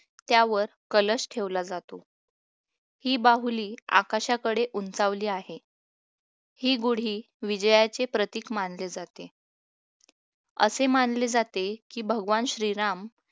त्यावर कलश ठेवला जातो ही बाहुली आकाशाकडे उंचावली आहे ही गुढी विजयाचे प्रतीक मानले जाते असे मानले जाते की भगवान श्रीराम